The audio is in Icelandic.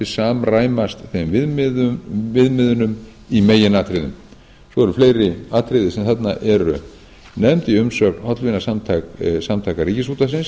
samræmast þeim viðmiðunum í meginatriðum svo eru fleiri atriði sem þarna eru nefnd í umsögn hollvinasamtaka ríkisútvarpsins